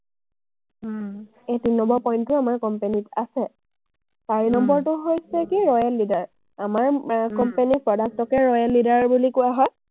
এই তিনি number point টো আমাৰ company ত আছে। চাৰি নম্বৰটো হৈছে কি, royal leader । আমাৰ এৰ company ৰ product কে royal leader বুলি কোৱা হয়।